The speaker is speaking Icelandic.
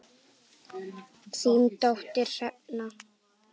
Þín dóttir, Hrefna.